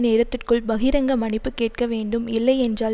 நேரத்திற்குள் பகிரங்க மன்னிப்பு கேட்க வேண்டும் இல்லையென்றால்